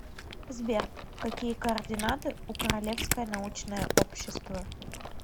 сбер какие координаты у королевское научное общество